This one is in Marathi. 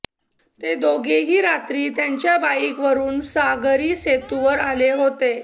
ते दोघेही रात्री त्यांच्या बाईकवरुन सागरी सेतूवर आले होते